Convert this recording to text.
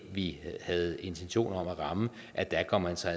vi havde intentioner om at ramme at ramme altså